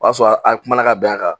O y'a sɔrɔ an kumana ka bɛn a kan